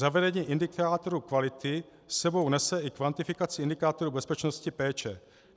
Zavedení indikátoru kvality s sebou nese i kvantifikaci indikátoru bezpečnosti péče.